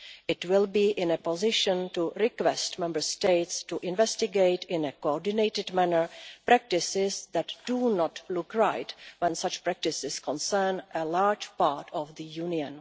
It will be in a position to request Member States investigate in a coordinated manner practices that do not look right when such practices concern a large part of the Union.